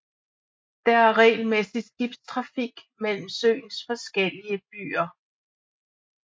Der er regelmæssig skibstrafik mellem søens forskellige byer